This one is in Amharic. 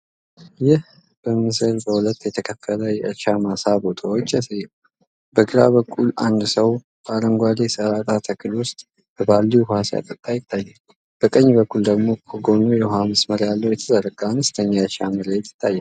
ይህ ምስል በሁለት የተከፈለ የእርሻ ማሳ ቦታዎችን ያሳያል። በግራ በኩል አንድ ሰው በአረንጓዴ የሰላጣ ተክል ውስጥ በባልዲ ውኃ ሲያጠጣ ይታያል። በቀኝ በኩል ደግሞ ከጎኑ የውኃ መስመር ያለው የተዘረጋ አነስተኛ የእርሻ መሬት ይታያል።